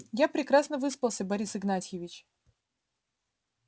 я прекрасно выспался борис игнатьевич